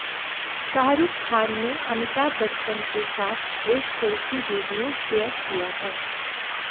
शाहरुख खान ने अमिताभ बच्चन के साथ एक सेल्फी वीडियो शेयर किया है